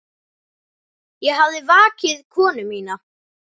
Ég hafði vakið konu mína.